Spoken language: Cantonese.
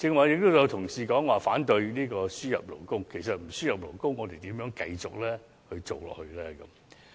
有同事剛才說反對輸入勞工，但如果不輸入勞工，我們如何繼續經營下去呢？